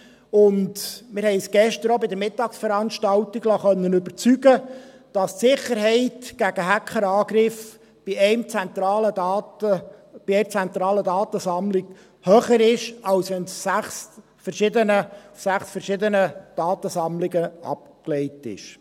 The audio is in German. Wir konnten uns gestern auch an der Mittagsveranstaltung überzeugen lassen, dass die Sicherheit gegen Hackerangriffe bei einer zentralen Datensammlung höher ist, als wenn die Daten in sechs verschiedenen Datensammlungen abgelegt sind.